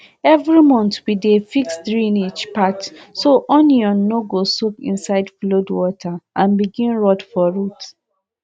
every month we dey fix drainage path so onion no go soak inside flood water and begin rot from root